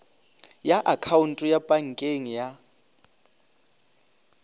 ya akhaonto ya pankeng ya